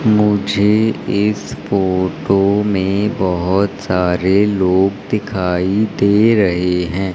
मुझे इस फोटो में बहुत सारे लोग दिखाई दे रहे हैं।